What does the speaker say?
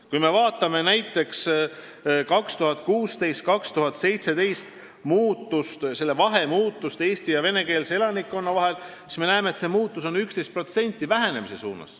Kui me vaatame näiteks muutust Euroopa Liitu suhtumises aastatel 2016–2017, usalduse vahet eesti- ja venekeelse elanikkonna vahel, siis me näeme, et see vahe on 11% vähenenud.